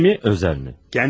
Rəsmi mi, özəl mi?